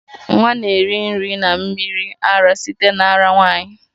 Nwa na-eri nri na mmiri ara site na ara nwanyị